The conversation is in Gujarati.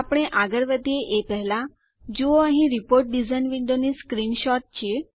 આપણે આગળ વધીએ એ પહેલા જુઓ અહીં રીપોર્ટ ડીઝાઇન વિન્ડોની સ્ક્રીનશોટ છે